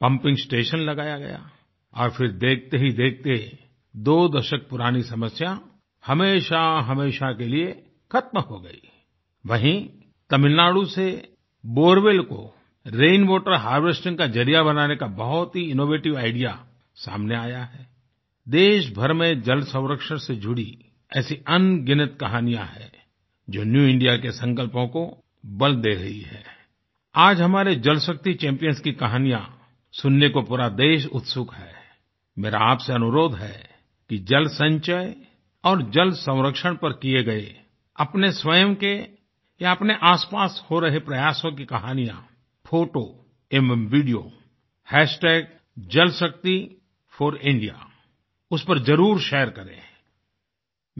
pumping station लगाया गया और फिर देखते ही देखते दो दशक पुरानी समस्या हमेशाहमेशा के लिये खत्म हो गई आई वहीं तमिलनाडु से borewellको रेनवाटर हार्वेस्टिंग काजरिया बनाने का बहुत ही इनोवेटिव आईडीईए सामने आया है आई देशभर में जलसंरक्षणसे जुड़ी ऐसी अनगिनत कहानियां हैं जो न्यू इंडिया के संकल्पों को बल दे रही हैं आई आज हमारे जलशक्ति चैम्पियंस की कहानियाँ सुनने को पूरा देश उत्सुक है आई मेरा आपसे अनुरोध है कि जलसंचय और जलसंरक्षण पर किये गये अपने स्वयं के या अपने आसपास हो रहे प्रयासों की कहानियाँ फोटो एवं Videojalshakti4India उस पर ज़रूर शेयर करें आई